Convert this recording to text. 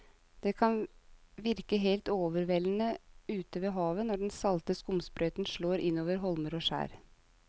Det kan virke helt overveldende ute ved havet når den salte skumsprøyten slår innover holmer og skjær.